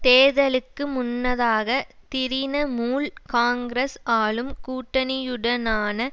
தேர்தலுக்கு முன்னதாக திரினமூல் காங்கிரஸ் ஆளும் கூட்டணியுடனான